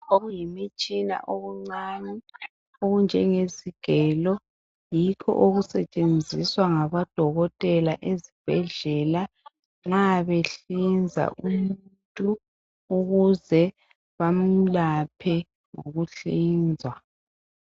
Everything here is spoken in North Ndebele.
Okuyimitshina emncane okunjengegelo. Yikho okusetshenziswa ngabo dokotela ezibhedlela ma behlinza umuntu ukuze bamlaphe ngokuhlinzwa.